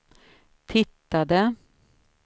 tittade